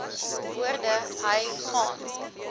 woorde hy gaan